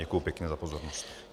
Děkuji pěkně za pozornost.